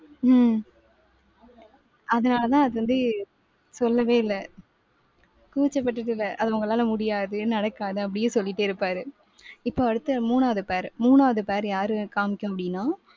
உம் அதனாலதான் அது வந்து சொல்லவே இல்லை. கூச்சப்பட்டுட்டு இல்ல. அதை உங்களால முடியாது நடக்காது அப்படியே சொல்லிட்டே இருப்பாரு. இப்ப அடுத்து மூணாவது pair. மூணாவது pair யாரு காமிக்கமுடியும்னா